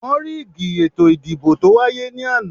Wọ́n ríìgì ètò ìdìbò tó wáyé ní àná